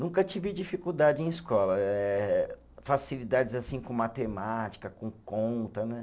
Nunca tive dificuldade em escola eh, facilidades assim com matemática, com conta, né?